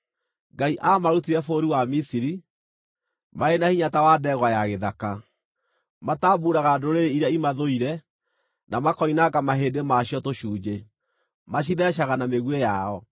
“Ngai aamarutire bũrũri wa Misiri; marĩ na hinya ta wa ndegwa ya gĩthaka. Matambuuraga ndũrĩrĩ iria imathũire, na makoinanga mahĩndĩ ma cio tũcunjĩ; macitheecaga na mĩguĩ yao.